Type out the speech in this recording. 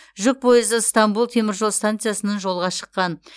жүк пойызы ыстанбұл теміржол станциясынан жолға шыққан